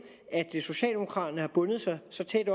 at socialdemokraterne har bundet sig så tæt